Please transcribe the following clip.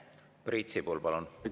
Priit Sibul, palun!